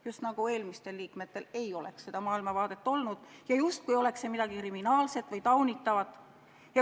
Just nagu eelmistel liikmetel ei oleks maailmavaadet olnud ja justkui oleks see midagi kriminaalset või taunitavat.